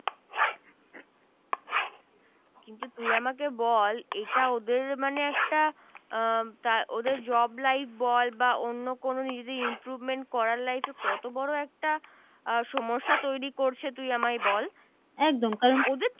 কিন্তু তুই আমাকে বল এটা ওদের মানে একটা ওদের Job Light বল বা অন্য কোন যদি improvement করার Life এ কত বড় একটা সমস্যা তৈরি করছে তুই আমায় বল ওদের তো